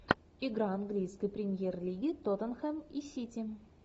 игра английской премьер лиги тоттенхэм и сити